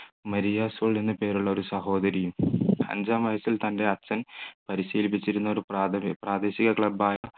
Maria സോളിന് പേരുള്ള ഒരു സഹോദരിയും അഞ്ചാം വയസ്സിൽ തൻ്റെ അച്ഛൻ പരിശീലിപ്പിച്ചിരുന്ന ഒരു പ്രാദേശിക club ആയ